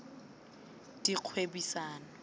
dikgwebisano